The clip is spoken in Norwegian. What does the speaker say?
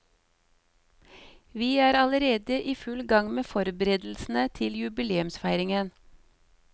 Vi er allerede i full gang med forberedelsene til jubileumsfeiringen.